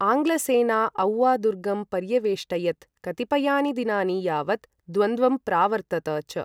आङ्ग्लसेना औवा दुर्गं पर्यवेष्टयत् कतिपयानि दिनानि यावत् द्वन्द्वं प्रावर्तत च।